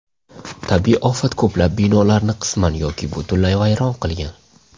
Tabiiy ofat ko‘plab binolarni qisman yoki butunlay vayron qilgan.